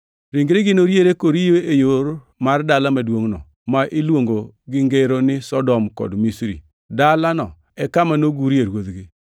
Ringregi noriere koriyo e yo mar dala maduongʼno, ma iluongo gi ngero ni Sodom kod Misri, dalano e kama nogurie Ruodhgi.